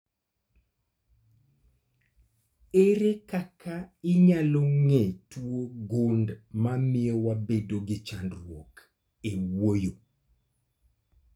Ere kaka inyalo ng'e tuo gund mamio wabedo gi chandruok e wuoyo?